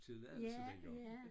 Tilladelse dengang